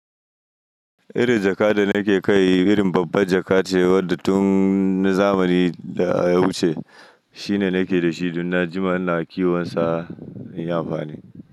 Irin jaka da nake kai irin babban jakace wadda tunna zamani daya wuce shine nake dashi, dunna jima ina kiwonsa inyi amfani.